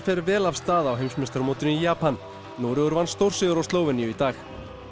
fer vel af stað á heimsmeistaramótinu í Japan Noregur vann stórsigur á Slóveníu í dag